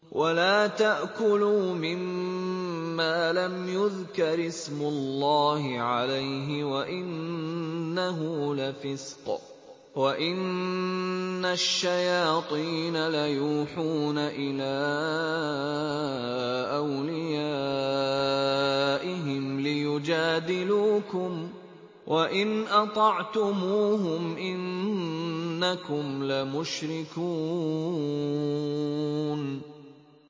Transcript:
وَلَا تَأْكُلُوا مِمَّا لَمْ يُذْكَرِ اسْمُ اللَّهِ عَلَيْهِ وَإِنَّهُ لَفِسْقٌ ۗ وَإِنَّ الشَّيَاطِينَ لَيُوحُونَ إِلَىٰ أَوْلِيَائِهِمْ لِيُجَادِلُوكُمْ ۖ وَإِنْ أَطَعْتُمُوهُمْ إِنَّكُمْ لَمُشْرِكُونَ